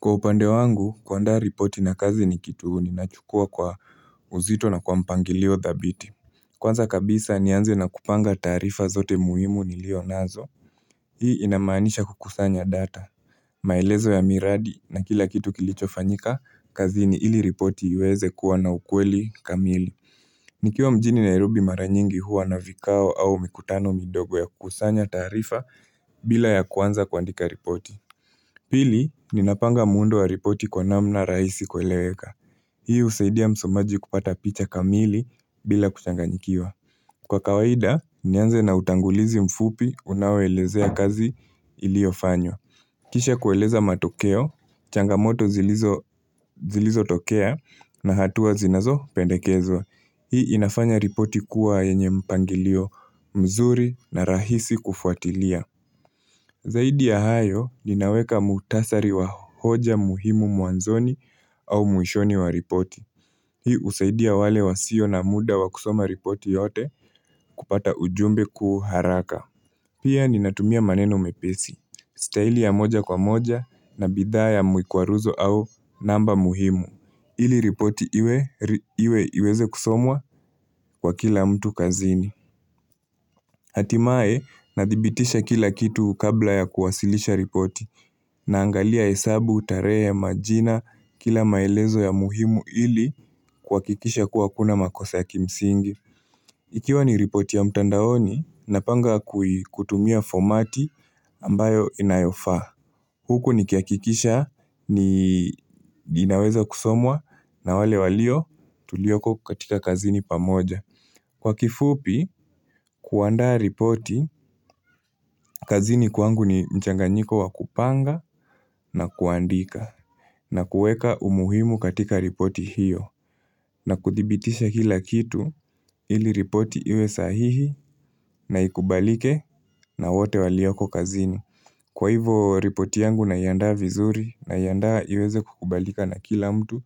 Kwa upande wangu, kuandaa ripoti na kazi ni kitu ninachukua kwa uzito na kwa mpangilio dhabiti. Kwanza kabisa, nianze na kupanga taarifa zote muhimu nilio nazo. Hii inamanisha kukusanya data. Maelezo ya miradi na kila kitu kilicho fanyika, kazini ili ripoti iweze kuwa na ukweli kamili. Nikiwa mjini nairobi mara nyingi huwa na vikao au mikutano midogo ya kukusanya taarifa bila ya kuanza kuandika ripoti. Pili, ninapanga muundo wa ripoti kwa namna rahisi kueleweka. Hii husaidia msomaji kupata picha kamili bila kuchanganyikiwa. Kwa kawaida, nianze na utangulizi mfupi unaoelezea kazi iliofanywa. Kisha kweleza matokeo, changamoto zilizotokea na hatua zinazo pendekezwa. Hii inafanya ripoti kuwa yenye mpangilio mzuri na rahisi kufuatilia. Zaidi ya hayo ninaweka mukhtasari wa hoja muhimu mwanzoni au mwishoni wa ripoti. Hii usaidia wale wasio na muda wa kusoma ripoti yote kupata ujumbe kwa haraka. Pia ninatumia maneno mepesi. Staili ya moja kwa moja na bidhaa ya mikwaruzo au namba muhimu. Ili ripoti iwe iweze kusomwa kwa kila mtu kazini. Hatimaye, nadhibitisha kila kitu kabla ya kuwasilisha ripoti naangalia hesabu, tarehe, majina, kila maelezo ya muhimu ili kuhakikisha kuwa hakuna makosa ya kimsingi. Ikiwa ni ripoti ya mtandaoni, napanga kutumia fomati ambayo inayofaa. Huku nikihakikisha ni inaweza kusomwa na wale walio tulioko katika kazini pamoja. Kwa kifupi, kuandaa ripoti, kazini kwangu ni mchanganyiko wa kupanga na kuandika na kueka umuhimu katika ripoti hiyo na kudhibitisha kila kitu ili ripoti iwe sahihi na ikubalike na wote walioko kazini. Kwa hivo ripoti yangu naiandaa vizuri naiandaa iweze kukubalika na kila mtu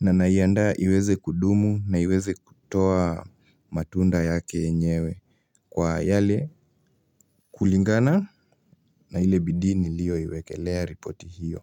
na naiandaa iweze kudumu na iweze kutoa matunda yake yenyewe kwa yale kulingana na ile bidii ni\liyoiwekelea ripoti hiyo.